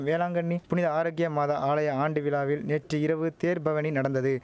வேளாங்கண்ணி புனித ஆரோக்கிய மாதா ஆலய ஆண்டு விழாவில் நேற்று இரவு தேர் பவனி நடந்தது